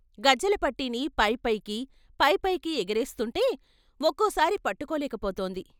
గజ్జెలపట్టీని పై పైకి, పై పైకి ఎగరేస్తుంటే ఒక్కోసారి పట్టుకోలేకపోతోంది.